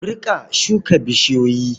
Ku riƙa shuka bishiyoyi.